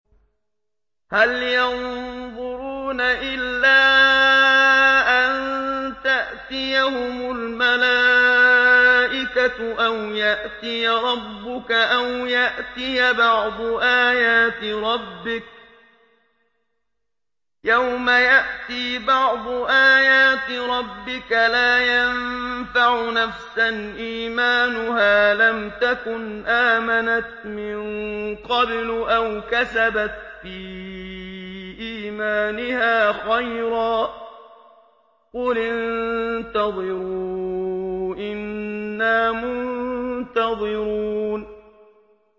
هَلْ يَنظُرُونَ إِلَّا أَن تَأْتِيَهُمُ الْمَلَائِكَةُ أَوْ يَأْتِيَ رَبُّكَ أَوْ يَأْتِيَ بَعْضُ آيَاتِ رَبِّكَ ۗ يَوْمَ يَأْتِي بَعْضُ آيَاتِ رَبِّكَ لَا يَنفَعُ نَفْسًا إِيمَانُهَا لَمْ تَكُنْ آمَنَتْ مِن قَبْلُ أَوْ كَسَبَتْ فِي إِيمَانِهَا خَيْرًا ۗ قُلِ انتَظِرُوا إِنَّا مُنتَظِرُونَ